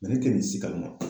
Nga ne te nin si kalama.